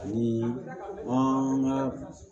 Ani an ka